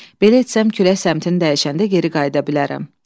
Belə etsəm külək səmtini dəyişəndə geri qayıda bilərəm.